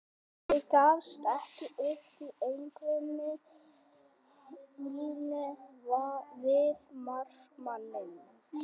Ég gafst ekki upp í einvígi mínu við markmanninn.